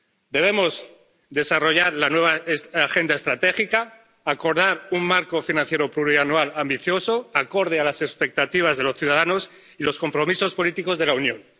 Debemos desarrollar la nueva Agenda Estratégica y acordar un marco financiero plurianual ambicioso conforme con las expectativas de los ciudadanos y los compromisos políticos de la Unión.